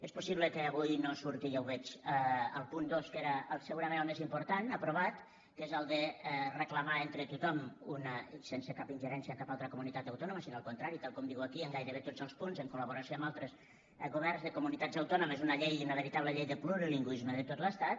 és possible que avui no surti ja ho veig el punt dos que era segurament el més important aprovat que és el de reclamar entre tothom sense cap ingerència a cap altra comunitat autònoma sinó al contrari tal com diu aquí en gairebé tots els punts en colamb altres governs de comunitats autònomes una llei una veritable llei de plurilingüisme de tot l’estat